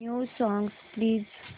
new songs please